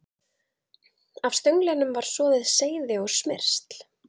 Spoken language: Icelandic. Af stönglinum var soðið seyði og smyrsl.